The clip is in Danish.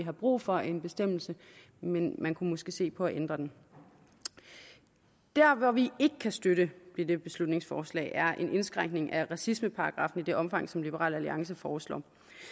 er brug for en bestemmelse men man kunne måske se på at ændre den der hvor vi ikke kan støtte dette beslutningsforslag er en indskrænkning af racismeparagraffen i det omfang som liberal alliance foreslår